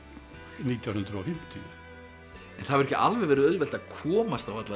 nítján hundruð og fimmtíu en það hefur ekki alveg verið auðvelt að komast á alla þessa